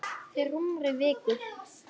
Fyrir rúmri viku.